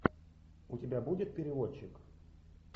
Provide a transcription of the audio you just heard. у тебя будет переводчик